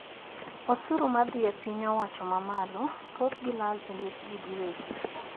Osuru madhi e piny owacho mamalo thoth gi lal e lwet jii gi wegi